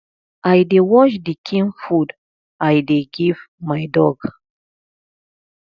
i dey watch the kin food i dey give my dog